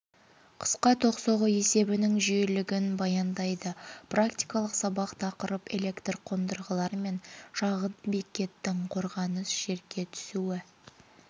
қысқа ток соғу есебінің жүйелілігін баяндайды практикалық сабақ тақырып электр қондырғылар мен шағын бекеттің қорғаныс жерге түсуі